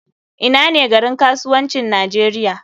Ina ne garin kasuwancin nigeria?